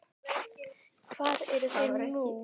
Hvar eru þeir nú?